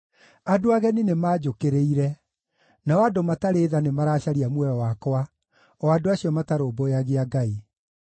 Andũ ageni nĩmanjũkĩrĩire; nao andũ matarĩ tha nĩmaracaria muoyo wakwa, o andũ acio matarũmbũyagia Ngai.